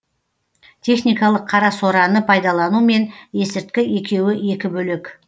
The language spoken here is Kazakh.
техникалық қарасораны пайдалану мен есірткі екеуі екі бөлек